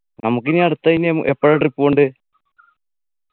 നമുക്കിനി അടുത്ത ഇനി ഉം എപ്പോഴാ trip പോണ്ടെ